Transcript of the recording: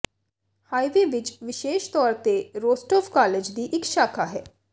highway ਵਿੱਚ ਵਿਸ਼ੇਸ਼ ਤੌਰ ਤੇ ਰੋਸਟੋਵ ਕਾਲਜ ਦੀ ਇੱਕ ਸ਼ਾਖਾ ਹੈ